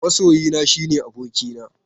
Masoyina shine abokina.